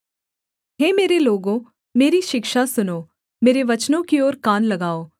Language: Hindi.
हे मेरे लोगों मेरी शिक्षा सुनो मेरे वचनों की ओर कान लगाओ